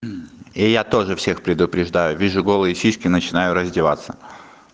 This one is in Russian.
и я тоже всех предупреждаю вижу голые сиськи начинаю раздеваться